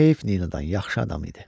“Heyf Ninadan, yaxşı adam idi.”